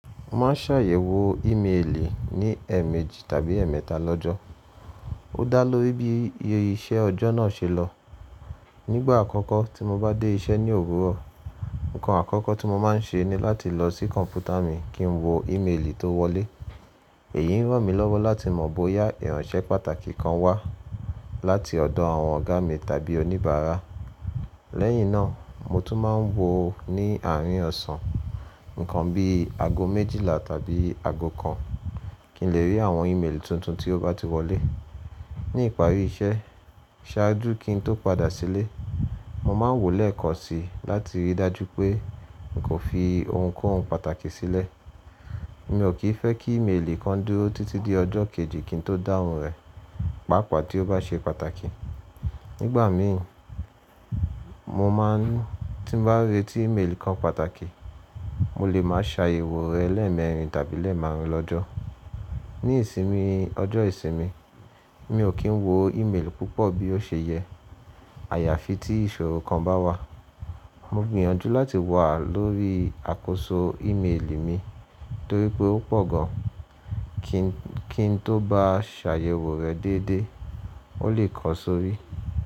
Má a ṣàyẹ̀wò íméèlì ní ẹ̀ẹ̀méjì tàbí ẹ̀ẹ̀mẹta lọ́jọ́, ó dá lóri bí iṣẹ́ ọjọ́ náà ṣe lọ. Nígbà àkọ́kọ́ tí mo bá dé iṣẹ́ ní òwúrọ̀, ǹkan àkọ́kọ́ tí mo máa ń ṣe ní láti lọ sí kọ̀ǹpútà mi kí n wo íméèlì tó wọlé. Èyí ń ràn mí lọ́wọ́ láti mọ̀ bóyá ìránṣẹ́ pàtàkì kan wá láti ọ̀dọ̀ àwọn ọ̀gá mi tàbí oníbàárà. Lẹ́yìn náà, mo tún máa ń wo ní àárín ọ̀sán, ǹkan bí i ago méjìlá tàbí ago kan, kí n lè rí àwọn íméèlì tuntun tí ó bá ti wọlé. Ní ìparí iṣẹ́, ṣáájú kí n tó padà sílé, mo máa ń wòó lẹ́ẹ̀kan si láti rí i dájú pé n kò fi ohunkóhun pàtàkì sílẹ̀. Mi ò kì í fẹ́ kí íméèlì kan dúró títí di ọjọ́ kejì kí n tó dáhùn rẹ̀, pàápàá tí ó bá ṣe pàtàkì. Nígbà mí, mo máa ń tí bá rí tí íméèlì kan pàtàkì, mo lè máa ṣàyẹ̀wò rẹ̀ lẹ́ẹ̀mẹrin tàbí lẹ́ẹ̀ márùn lọ́jọ́. Ní ìsinmi, ọjọ́ ìsinmi, mi ò kí ń wo íméèlì púpọ̀ bí ó ṣe yẹ. Àyàfi tí ìṣòro kan bá wà. Mo gbìyànjú láti wà lórí àkóso íméèlì mi torí pé ó pọ̀ gan, kí n tó bá ṣàyẹ̀wò rẹ̀ déédé, ó lè ko sórí.